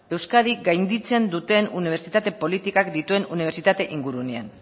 euskadi gainditzen duten unibertsitate politikak dituen unibertsitate ingurunean